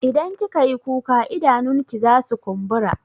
Idan kika yi kuka idanunki zasu kumbura.